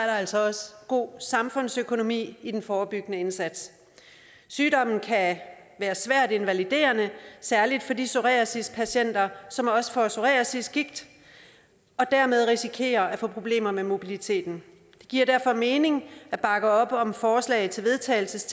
altså også god samfundsøkonomi i den forebyggende indsats sygdommen kan være svært invaliderende særlig for de psoriasispatienter som også får psoriasisgigt og dermed risikerer at få problemer med mobiliteten det giver derfor mening at bakke op om forslaget til vedtagelse